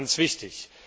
Ganz wichtig!